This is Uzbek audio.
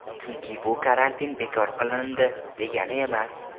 Chunki bu karantin bekor qilindi, degani emas .